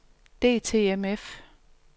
DTMF